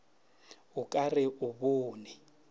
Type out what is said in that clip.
o ka re o bone